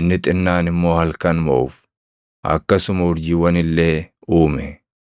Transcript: inni xinnaan immoo halkan moʼuuf. Akkasuma urjiiwwan illee uume.